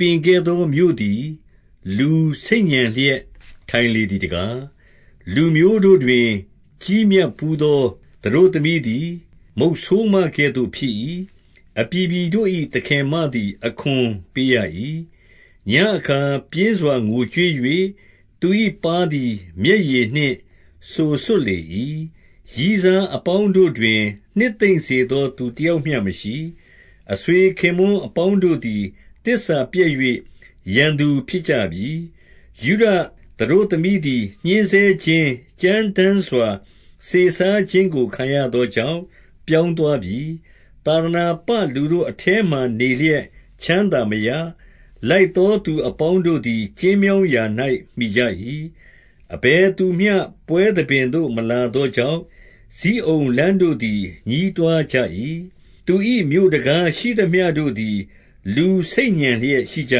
ပင်ခဲ့သော မြို့သည် လူဆိတ်ညံလျက် ထိုင်လေသည်တကား၊ လူမျိုးတို့တွင် ကြီးမြတ်ထူးသော သတို့သမီးသည် မုတ်ဆိုးမကဲ့သို့ဖြစ်၏။ အပြည်ပြည်တို့၏ သခင်မသည် အခွန်ပေးရ၏။ 2 ညဉ့်အခါပြင်စွာ ငိုကြွေး၍၊ သူ၏ပါးသည် မျက်ရည်နှင့်စိုစွတ်လေ၏။ ရည်းစားအပေါင်းတို့တွင် နှစ်သိမ့်စေသောသူတယောက်မျှမရှိ။ အဆွေခင်ပွန်း အပေါင်းတို့သည် သစ္စာပျက်၍ ရန်သူဖြစ်ကြပြီ။ 3 ယုဒသတို့သမီးသည် ညှဉ်းဆဲခြင်း၊ ကြမ်းတမ်းစွာ စေစားခြင်းကို ခံရသောကြောင့်ပြောင်းသွားပြီ။ သာသနာ ပလူတို့အထဲမှာနေလျက် ချမ်းသာမရ။ လိုက်သော သူအပေါင်းတို့သည် ကျဉ်းမြောင်းရာ၌ မှီကြ၏။ 4 အဘယ်သူမျှပွဲသဘင်သို့ မလာသောကြောင့်၊ ဇိအုန်လမ်းတို့သည် ညည်းတွားကြ၏။ သူ၏မြို့တံခါး ရှိသမျှတို့သည် လူဆိတ်ညံလျက်ရှိကြ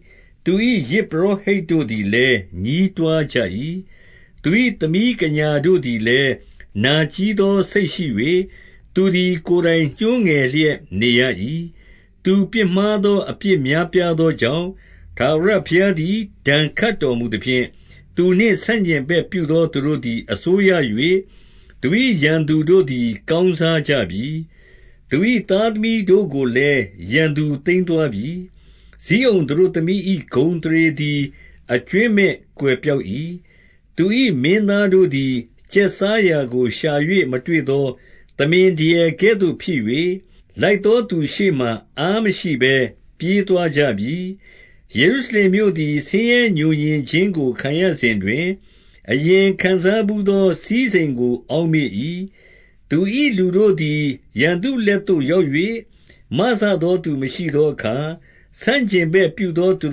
၏။ သူ၏ယဇ်ပုရော ဟိတ်တို့သည်လည်း ညည်းတွားကြ၏။ သူ၏သမီးကညာ တို့သည်လည်း နာကြည်းသောစိတ်ရှိ၍၊ သူသည် ကိုယ်တိုင် ညှိုးငယ်လျက်နေရ၏။ 5 သူပြစ်မှားသော အပြစ်များပြားသောကြောင့် ထာဝရဘုရားသည် ဒဏ်ခတ်တော်မူသဖြင့်၊ သူနှင့် ဆန့်ကျင်ဘက်ပြုသော သူတို့သည် အစိုးရ၍၊ သူ၏ရန်သူ တို့သည်ကောင်းစားကြပြီ။ သူ၏သားသမီးတို့ကိုလည်း ရန်သူသိမ်းသွားကြပြီ။ 6 ဇိအုန်သတို့သမီး၏ ဂုဏ်အသရေသည်အကြွင်း မဲ့ကွယ်ပျောက်၏။ သူ၏မင်းသားတို့သည် ကျက်စားရာ ကိုရှာ၍ မတွေ့သော သမင်ဒရယ်ကဲ့သို့ဖြစ်၍၊လိုက်သော သူရှေ့မှာ အားမရှိဘဲ ပြေးသွားကြပြီ။ 7 ယေရုရှလင်မြို့သည် ဆင်းရဲငြိုငြင်ခြင်းကို ခံရစဉ်တွင်၊ အရင်ခံစားဘူးသော စည်းစိမ်ကို အောက်မေ့ ၏။ သူ၏လူတို့သည် ရန်သူလက်သို့ ရောက်၍ မစသော သူမရှိသောအခါ၊ ဆန့်ကျင်ဘက်ပြုသောသူ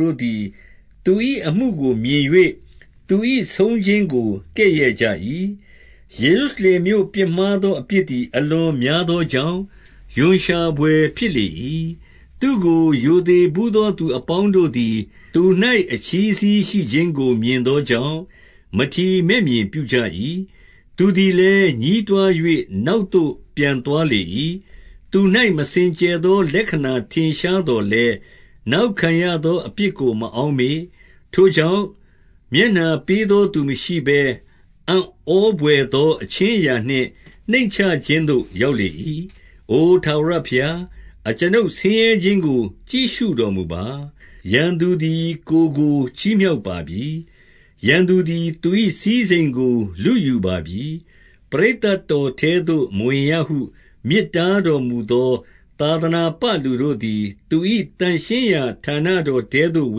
တို့သည် သူ၏အမှုကိုမြင်၍၊ သူ၏ဆုံးခြင်းကိုကဲ့ရဲ့ကြ၏။ 8 ယေရုရှလင်မြို့ပြစ်မှားသောအပြစ်သည် အလွန်များသောကြောင့်၊ ရွံ့ရှာဘွယ် ဖြစ်လေ၏။ သူ့ကို ရိုသေဘူးသောသူ အပေါင်းတို့သည် သူ၌အချည်းစည်းရှိ ခြင်းကို မြင်သောကြောင့် မထီမဲ့မြင်ပြုကြ၏။ သူသည် လည်း ညည်းတွား၍ နောက်သို့ပြန်သွားလေ၏။ 9 သူ၌မစင်ကြယ်သော လက္ခဏထင်ရှားသော် လည်း၊ နောက်ခံရသောအပြစ်ကို မအောက်မေ့။ ထိုကြောင့်၊ မျက်နှာပေးသောသူမရှိဘဲ အံ့ဩဘွယ်သော အခြင်းအရာနှင့်နှိမ်ချခြင်းသို့ ရောက်လေ၏။ အိုထာဝရ ဘုရား၊ အကျွန်ုပ်ဆင်းရဲခြင်းကို ကြည့်ရှုတော်မူပါ။ 10 ရန်သူသည် ကိုယ်ကိုချီးမြှောက်ပါပြီ။ ပရိသတ် တော်ထဲသို့ မဝင်ရဟုမြစ်တားတော်မူသော် သာသနာ ပလူတို့သည် သူ၏သန့်ရှင်းရာဌာနတောင်ထဲသို့ ဝ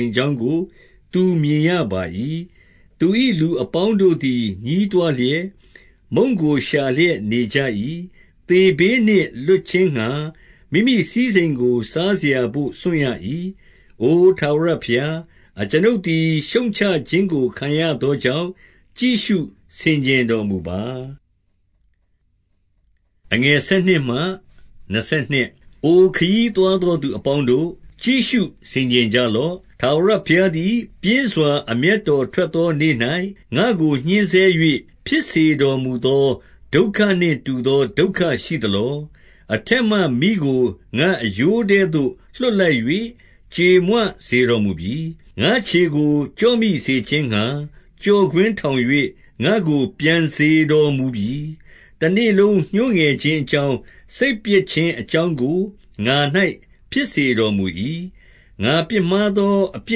င်ကြောင်းကို သူမြင်ရပါ၏။ 11 သူ၏လူအပေါင်းတို့သည် ညည်းတွားလျက်၊ မုန့်ကိုရှာလျက် နေကြ၏။ သေဘေးနှင့်လွတ်ခြင်းငှါ မိမိစည်းစိမ်ကို စားစရာဘို့ စွန့်ရ၏။ အိုထာဝရဘုရား၊ အကျွန်ုပ်သည် ရှုတ်ချခြင်းကို ခံရသောကြောင့် ကြည့်ရှု ဆင်ခြင်တော်မူပါ။ 12 အိုခရီးသွားသောသူ အပေါင်းတို့၊ ကြည့်ရှု ဆင်ခြင်ကြလော့။ ထာဝရဘုရားသည် ပြင်းစွာအမျက် တော်ထွက်သော နေ့၌ငါ့ကိုညှဉ်းဆဲ၍၊ ဖြစ်စေတော်မူ သော ဒုက္ခနှင့်တူသော ဒုက္ခရှိသလော။ 13 အထက်မှမီးကို ငါ့အရိုးထဲသို့လွှတ်လိုက်၍ ကြေမွေစေတော်မူပြီ။ ငါ့ခြေကို ကျော့မိစေခြင်းငှါ ကျော့ကွင်းထောင်၍ ငါ့ကိုပြန်စေတော်မူပြီ။ တနေ့လုံး ညှိုးငယ်ခြင်းအကြောင်း၊ စိတ်ပျက်ခြင်းအကြောင်းကို ငါ၌ဖြစ်စေတော်မူ၏။ 14 ငါပြစ်မှားသော အပြ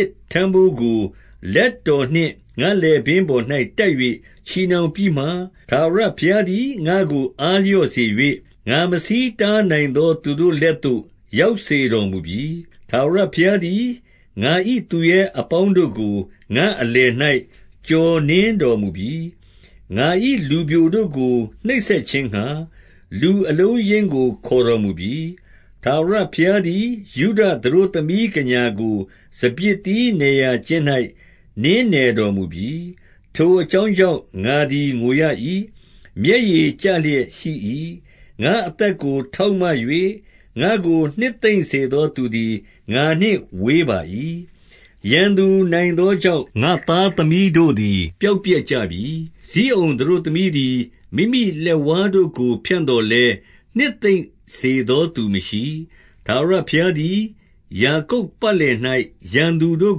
စ်ထမ်းဘိုးကို လက်တော် နှင့် ငါ့လည်ပင်းပေါ်၌တပ်၍ချည်နှောင်ပြီးမှ၊ ထာဝရ ဘုရားသည် ငါ့ကိုအားလျော့စေ၍၊ ငါမဆီးတားနိုင်သော သူ့တို့လက်သို့ ရောက်စေတော်မူပြီ။ 15 ထာဝရဘုရားသည် ငါ၏သူရဲအပေါင်းတို့ကို ငါ့အလယ်၌ကျော်နင်းတော်မူပြီ။ ငါ၏လူပျိုတို့ကို နှိပ်စက် ခြင်းငှါ လူအလုံးအရင်းကို ခေါ်တော်မူပြီ။ ထာဝရဘုရား သည် ယုဒသတို့သမီးကညာကို စပျစ်သီးနယ်ရာကျင်း ၌ နင်းနယ်တော်မူပြီ။ 16 ထိုအကြောင်းကြောင့် ငါသည်ငိုရ၏။ မျက်ရည် ကျလျက်ရှိ၏။ ငါ့အသက်ကို ထောက်မ၍ ငါ့ကို နှစ်သိမ့် စေသောသူသည် ငါနှင့်ဝေးပါ၏ ရန်သူနိုင်သောကြောင့် ငါ့သားသမီးတို့သည် ပျောက်ပျက်ကြပြီ။ 17 ဇိအုန်သတို့သမီးသည် မိမိလက်ဝါးတို့ကို ဖြန့် သော်လည်း၊ နှစ်သိမ့်စေသောသူမရှိ။ ထာဝရဘုရားသည် ယာကုပ်ပတ်လည်၌ ရန်သူတို့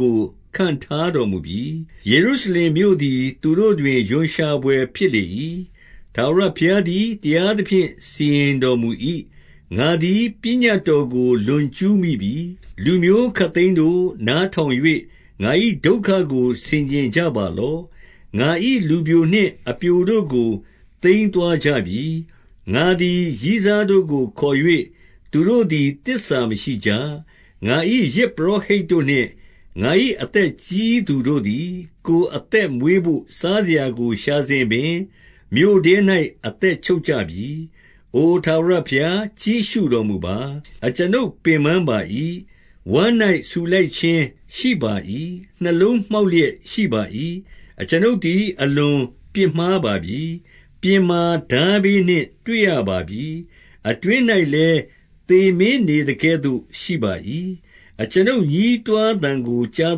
ကို ခန့်ထားတော်မူပြီ။ ယေရုရှလင်မြို့သည် သူတို့တွင် ရွံ့ရှာဘွယ် ဖြစ်လေ၏။ 18 ထာဝရဘုရားသည် တရားသဖြင့် စီရင်တော် မူ၏။ ငါသည် ပညတ်တော်ကို လွန်ကျူးမိပြီ။ လူမျိုး ခပ်သိမ်းတို့၊ နားထောင်၍ ငါ၏ဒုက္ခကို ဆင်ခြင်ကြ ပါလော့။ ငါ၏လူပျိုနှင့် အပျိုတို့ကို သိမ်းသွားကြပါလော့။ ငါ၏လူပျိုနှင့် အပျိုတို့ကို သိမ်းသွားကြပြီ။ 19 ငါသည် ရည်းစားတို့ကိုခေါ်၍ သူတို့သည် သစ္စာ မရှိကြ။ ငါ၏ယဇ်ပုရောဟိတ်တို့နှင့် ငါ၏အသက်ကြီး သူတို့သည် ကိုယ်အသက်မွေးဘို့ စားစရာကို ရှာစဉ်ပင် မြို့ထဲ၌ အသက်ချုပ်ကြပြီ။ 20 အိုထာဝရဘုရား၊ ကြည့်ရှုတော်မူပါ။ အကျွန်ုပ် ပင်ပန်းပါ၏။ ဝမ်း၌ဆူလှိုင်ခြင်းရှိပါ၏။ နှလုံးမှောက် လျက် ရှိပါ၏။ အကျွန်ုပ်သည် အလွန်ပြစ်မှားပါပြီ။ ပြင်မှာ ထားဘေးနှင့်တွေ့ရပါပြီ။ အတွင်း၌လည်း သေမင်းနေသကဲ့သို့ရှိပါ၏။ 21 အကျွန်ုပ်ညည်းတွားသံကို ကြား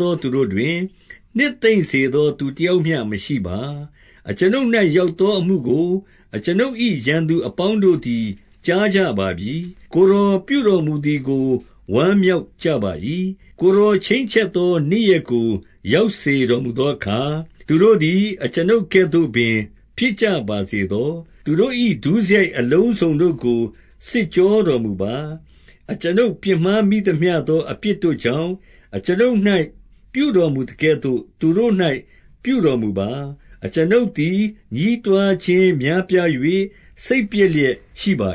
သောသူတို့တွင်၊ နှစ်သိမ်းစေသောသူတယောက်မျှမရှိပါ။ အကျွန်ုပ်၌ ရောက်သောအမှုကို အကျွန်ုပ်၏ ရန်သူအပေါင်းတို့သည် ကြားကြပါပြီ။ ကိုယ်တော်ပြုတော်မူသည်ကို ဝမ်းမြောက် ကြပါ၏။ ကိုယ်တော်ချိန်းချက်သော နေ့ရက်ကိုရောက်စေ တော်မူသောအခါ၊ သူတို့သည် အကျွန်ုပ်ကဲ့သို့ပင် ဖြစ်ကြ ပါစေသော။ 22 သူတို့၏ဒုစရိုက်အလုံးစုံတို့ကို စစ်ကြောတော် မူပါ။ အကျွန်ုပ်ပြစ်မှားမိသမျှသော အပြစ်တို့ကြောင့်၊ အကျွန်ုပ်၌ပြုတော်မူသကဲ့သို့ သူတို့၌ ပြုတော်မူပါ။ အကျွန်ုပ်သည် ညည်းတွားခြင်းများပြား၍ စိတ်ပျက် လျက်ရှိပါ